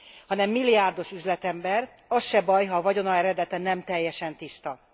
Hanem milliárdos üzletember, az se baj, ha a vagyona eredete nem teljesen tiszta.